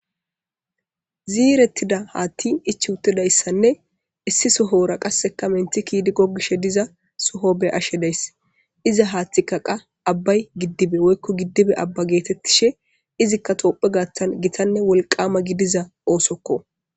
Ziiretida haati ichi uttidayssanne issi sohora qaseka menti ki'idi gogishe diza soho be'ashe daysi iza hatheyka qa abay gidiba woykko gidibe aba geetetishe izika tophiya gaathan gitanne wolkama gidiza oosoko.